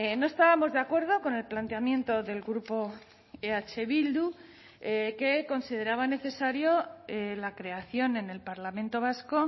no estábamos de acuerdo con el planteamiento del grupo eh bildu que consideraba necesario la creación en el parlamento vasco